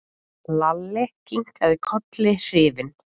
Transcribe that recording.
Lalli kinkaði kolli hrifinn.